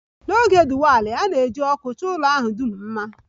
N'oge Diwali, a na-eji ọkụ chọọ ụlọ ahụ dum mma